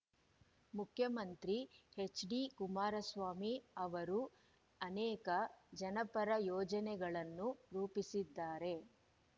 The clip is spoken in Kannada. ಮುಖ್ಯಮಂತ್ರಿ ಎಚ್‌ಡಿ ಕುಮಾರಸ್ವಾಮಿ ಅವರು ಅನೇಕ ಜನಪರ ಯೋಜನೆಗಳನ್ನು ರೂಪಿಸಿದ್ದಾರೆ